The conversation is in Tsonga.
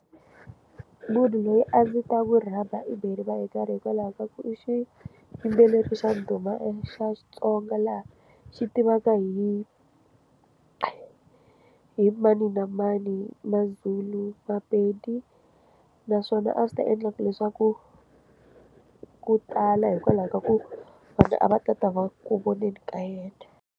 Munhu loyi a ndzi ta ku rhamba i beriwa hi nkarhi hikwalaho ka ku i xiyimbeleri xa ndhuma xa Xitsonga laha xi tivaka hi i hi mani na mani maZulu maPedi naswona a swi ta endla leswaku ku tala hikwalaho ka ku vanhu a va ta ta va ku voneni ka yena.